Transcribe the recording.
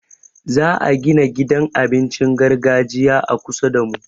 Za'a gina gidan abincin gargajiya a kusa damu.